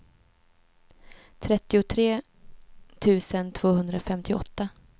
trettiotre tusen tvåhundrafemtioåtta